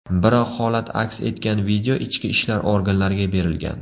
Biroq holat aks etgan video ichki ishlar organlariga berilgan.